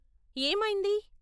ఏమైంది?